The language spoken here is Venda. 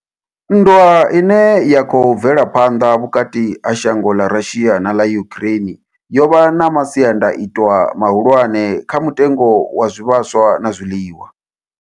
Nndwa ine ya khou bvela phanḓa vhukati ha shango ḽa Russia na ḽa Ukraine yo vha na masiandaitwa mahulwane kha mutengo wa zwivhaswa na zwiḽiwa.